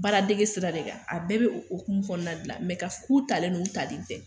Baaradge sira de kan a bɛɛ bɛ oumu fɔ na dilan mɛ ka ku talen n'u ta nin tɛ